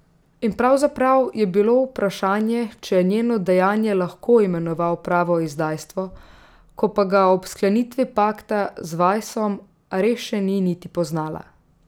In pravzaprav je bilo vprašanje, če je njeno dejanje lahko imenoval pravo izdajstvo, ko pa ga ob sklenitvi pakta z Vajsom res še ni niti poznala.